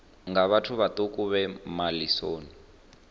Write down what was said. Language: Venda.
nga vhathu vhaṱuku vhe malisoni